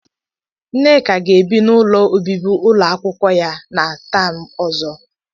Nneka ga-ebi n'ụlọ ọbibi ụlọakwụkwọ ya na taam ọzọ.